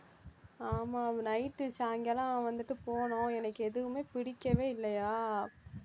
ஆமா night சாயங்காலம் வந்துட்டு போனோம் எனக்கு எதுவுமே பிடிக்கவே இல்லையா